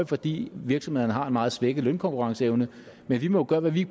fordi virksomhederne har en meget svækket lønkonkurrenceevne men vi må jo gøre hvad vi